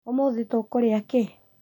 ũmũthĩ tũkũrĩa kĩĩ?